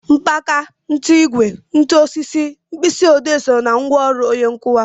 Mmanka, nkụigwe, ntu, osisi, mkpịsị odee so ná ngwaọrụ onye nkụkwa